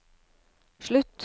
slutt